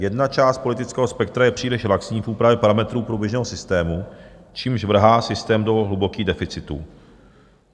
Jedna část politického spektra je příliš laxní v úpravě parametrů průběžného systému, čímž vrhá systém do hlubokých deficitů.